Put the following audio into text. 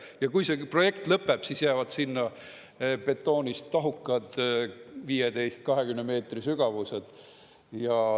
Ja kui see projekt lõpeb, siis jäävad sinna betoonist tahukad, 15–20 meetri sügavused.